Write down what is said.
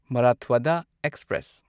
ꯃꯔꯥꯊ꯭ꯋꯥꯗꯥ express